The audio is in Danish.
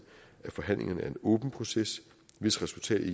at forhandlingerne er en åben proces hvis resultat ikke